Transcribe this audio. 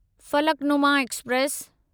Falaknuma express